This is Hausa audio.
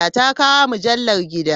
Ta kawo mujallar gida.